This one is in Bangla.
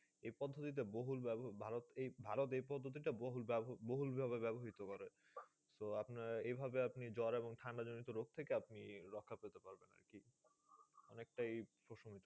এই পদ্ধতিতে বহুল ভারত এই ভারত এই পদ্ধতিটা বহুল বহুল ভাবে ব্যাবহিত করে। তো আপনার এইভাবে আপনি জ্বর এবং ঠাণ্ডা জনিত রোগ থেকে আপনি রক্ষা পেতে পারবেন আরকি, অনেকটাই।